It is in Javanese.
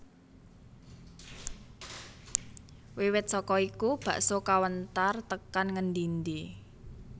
Wiwit saka iku bakso kawentar tekan ngendi endi